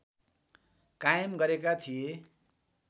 कायम गरेका थिए